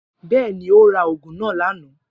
Bẹẹni, O ra ògùn nà lánàá